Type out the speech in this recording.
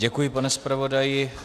Děkuji, pane zpravodaji.